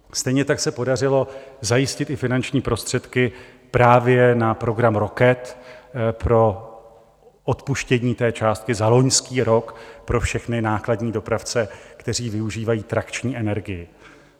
Stejně tak se podařilo zajistit i finanční prostředky právě na program Rocket pro odpuštění té částky za loňský rok pro všechny nákladní dopravce, kteří využívají trakční energii.